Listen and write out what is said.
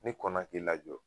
Ni kɔnna k'i lajɔ